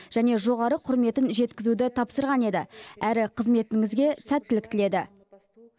және жоғары құрметін жеткізуді тапсырған еді әрі қызметіңізге сәттілік тіледі